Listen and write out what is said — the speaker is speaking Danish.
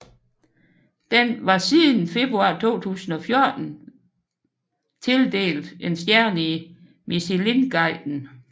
Den var siden februar 2014 været tildelt én stjerne i Michelinguiden